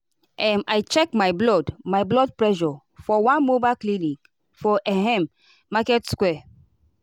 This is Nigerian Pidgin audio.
um i check my blood my blood pressure for one mobile clinic for ehm market square.